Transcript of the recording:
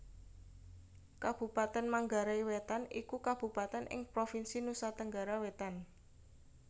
Kabupatèn Manggarai Wétan iku kabupatèn ing Provinsi Nusa Tenggara Wétan